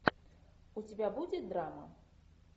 у тебя будет драма